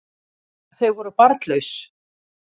Þau voru barnlaus